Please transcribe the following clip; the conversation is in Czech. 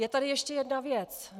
Je tady ještě jedna věc.